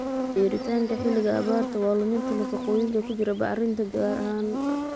beeritaanka xilliga abaarta waa: luminta nafaqooyinka ku jira bacriminta gaar ahaan